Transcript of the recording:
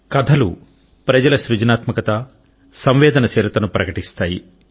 కథలు ప్రజల సృజనాత్మక సంవేదనశీలతను ప్రకటిస్తాయి